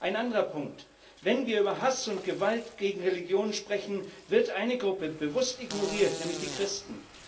Ein anderer Punkt Wenn wir über Hass und Gewalt gegen Religionen sprechen, wird eine Gruppe bewusst ignoriert, nämlich die Christen.